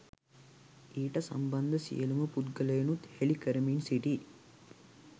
ඊට සම්බන්ධ සියලුම පුද්ගලයිනුත් හෙලිකරමින් සිටී.